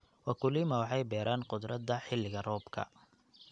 Wakulima waxay beeraan khudradda xilliga roobka.